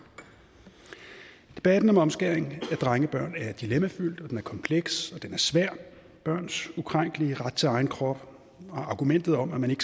debatten om omskæring af drengebørn er dilemmafyldt og den er kompleks og svær børns ukrænkelige ret til egen krop og argumentet om at man